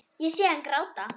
Ég sé hana gráta.